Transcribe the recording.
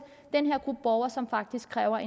den her gruppe borgere som faktisk kræver